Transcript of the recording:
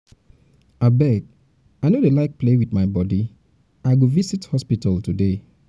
abeg i no dey like to play with my body i go um visit um hospital today